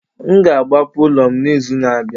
M ga-agbapụ ụlọ m n'izu na-abịa